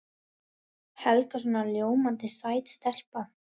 Helga svona ljómandi sæt stelpa.